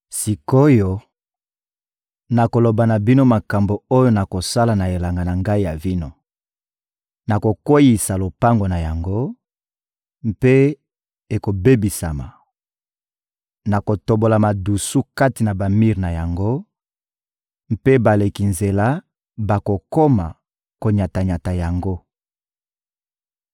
Sik’oyo, nakoloba na bino makambo oyo nakosala na elanga na ngai ya vino: Nakokweyisa lopango na yango, mpe ekobebisama; nakotobola madusu kati na bamir na yango, mpe baleki nzela bakokoma konyata-nyata yango.